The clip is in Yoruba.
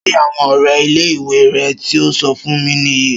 Ṣé àwọn ọrẹ ilé ìwé re tío so fún mi nìyí